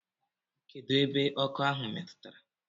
Kedụ ebe ọkọ ahụ metụtara.